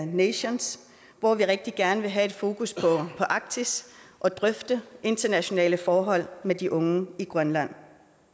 nations hvor vi rigtig gerne vil have et fokus på arktis og drøfte internationale forhold med de unge i grønland